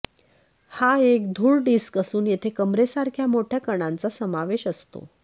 हा एक धूळ डिस्क असून येथे कंबरेसारख्या मोठ्या कणांचा समावेश असतो